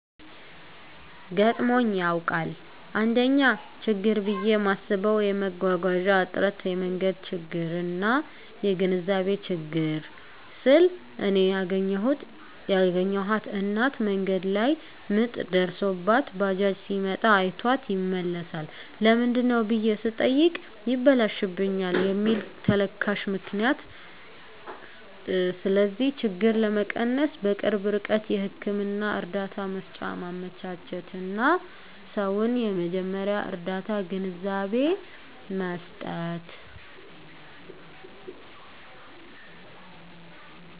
ገጥሞኝ ያዉቃል: 1ኛ :ችግር ብየ ማስበዉ የመጓጓዣ እጥረት የመንገድ ችግርና : (የግንዛቤ ችግር) ስል እኔ ያገኘኋት እናት መንገድ ላይ ምጥ ደርሶባት ባጃጅ ሲመጣ አይቷት ይመለሳል ለምንድነው ብየ ስጠይቅ ይበላሽብናል ከሚል ተልካሻ ምክንያት ስለዚህ ችግር ለመቀነስ_በቅርብ ርቀት ህክምና እርዳታ መሰጫ ማመቻቸትና: ሰዉን የመጀመርያ ርዳታ ግንዛቤ መስጠት።